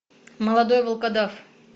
молодой волкодав